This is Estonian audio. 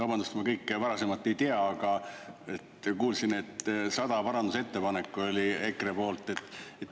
Vabandust, ma kõike varasemat ei tea, aga kuulsin, et 100 parandusettepanekut oli EKRE poolt.